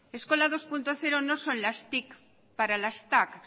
eskola bi puntu zero no son las tic para las tac